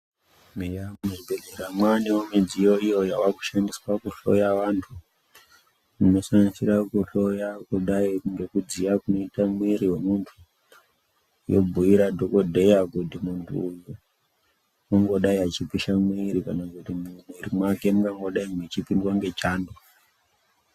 Eya muzvibhedhlera mwanewo nemidziyo, yavakushandiswa kuhloya vantu, inosanganisira kuhloya kudai ngekudziya kunoita mwiri wemuntu, yobhuira dhokodheya kuti muntu uyu ungangodai eipisha mwiri kana kuti mwiri mwake mungadai mweipindwa ngechando.